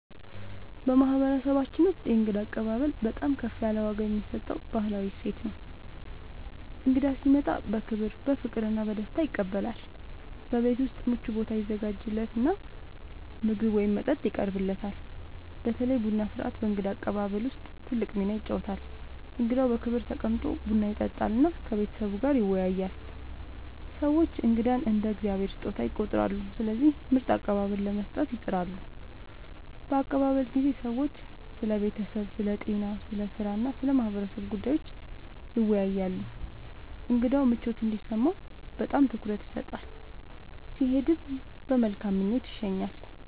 በማህበረሰባችን ውስጥ የእንግዳ አቀባበል በጣም ከፍ ያለ ዋጋ የሚሰጠው ባህላዊ እሴት ነው። እንግዳ ሲመጣ በክብር፣ በፍቅር እና በደስታ ይቀበላል፤ በቤት ውስጥ ምቹ ቦታ ይዘጋጃለት እና ምግብ ወይም መጠጥ ይቀርብለታል። በተለይ ቡና ሥርዓት በእንግዳ አቀባበል ውስጥ ትልቅ ሚና ይጫወታል፣ እንግዳው በክብር ተቀምጦ ቡና ይጠጣል እና ከቤተሰቡ ጋር ይወያያል። ሰዎች እንግዳን እንደ “የእግዚአብሔር ስጦታ” ይቆጥራሉ፣ ስለዚህ ምርጥ አቀባበል ለመስጠት ይጥራሉ። በአቀባበል ጊዜ ሰዎች ስለ ቤተሰብ፣ ስለ ጤና፣ ስለ ሥራ እና ስለ ማህበረሰቡ ጉዳዮች ይወያያሉ። እንግዳው ምቾት እንዲሰማው በጣም ትኩረት ይሰጣል፣ ሲሄድም በመልካም ምኞት ይሸኛል።